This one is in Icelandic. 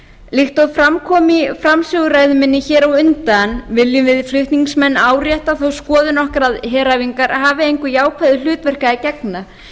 og fram kom í framsöguræðu minni á undan viljum við flutningsmenn árétta þá skoðun okkar að heræfingar hafi engu jákvæðu hlutverki að gegna